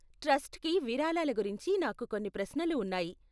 ట్రస్ట్కి విరాళాల గురించి నాకు కొన్ని ప్రశ్నలు ఉన్నాయి.